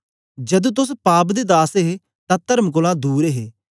जदू तोस पाप दे दास हे तां तर्म कोलां दूर हे